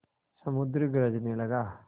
समुद्र गरजने लगा